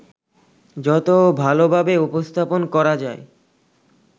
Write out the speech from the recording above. যত ভালোভাবে উপস্থাপন করা যায়